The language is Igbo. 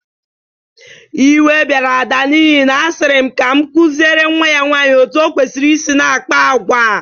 Iwe bịara Ada n'ihi na a sịrị m ka m kụzịre nwa ya nwaanyị otu o kwesiri i na-akpa agwa.